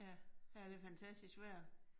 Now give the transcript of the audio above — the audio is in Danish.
Ja. Ja, det fantastisk vejr